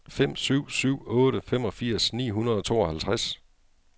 fem syv syv otte femogfirs ni hundrede og tooghalvtreds